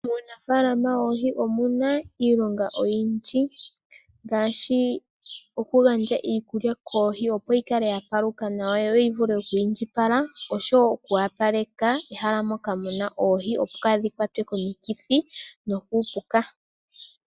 Muunafalama woohi omuna iilonga oyindji ngaashi okugandja iikulya koohi, opo yi kale ya paluka nawa yo yi vule oku indjipala. Oshowo okuwapaleka ehala moka muna oohi opo kadhi kwatwe komikithi nokuupuka.